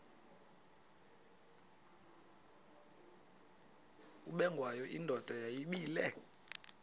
ubengwayo indoda yayibile